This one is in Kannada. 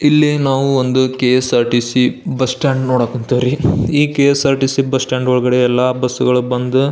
ಇಲ್ಲಿ ನಾವು ಒಂದು ಕೆ.ಎಸ್.ಆರ್.ಟಿ.ಸಿ. ಬಸ್ ಸ್ಟಾಂಡ್ ನೋಡಕ್ ಹೊಂತೀವ್ರಿ. ಕೆ.ಎಸ್.ಆರ್.ಟಿ.ಸಿ. ಬಸ್ ಸ್ಟಾಂಡ್ ಒಳಗಡೆ ಎಲ್ಲ ಬಸ್ಗಳು ಬಂದು --